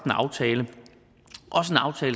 en aftale